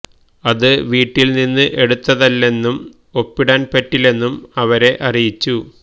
അത് വീട്ടിൽ നിന്ന് എടുത്തതല്ലെന്നും ഒപ്പിടാൻ പറ്റില്ലെന്നും അവരെ അറിയിച്ചു